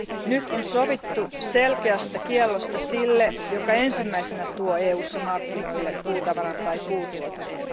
Nyt on sovittu selkeästä kiellosta sille, joka ensimmäisenä tuo EUssa markkinoille puutavaran tai puutuotteen.